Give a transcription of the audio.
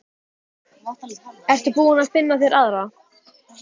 Ertu búinn að finna þér aðra?